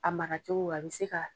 A mara cogo a bɛ se ka